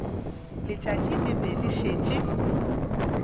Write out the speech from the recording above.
letšatši le be le šetše